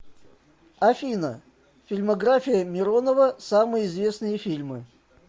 афина фильмография миронова самые известные фильмы